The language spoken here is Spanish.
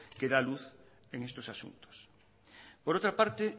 que da luz en estos asuntos por otra parte